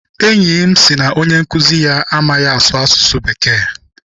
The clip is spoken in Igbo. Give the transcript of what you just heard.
Enyi m sị na onye nkụzi ya amaghị asụ asụsụ Bekee.